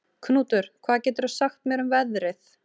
Knútur, hvað geturðu sagt mér um veðrið?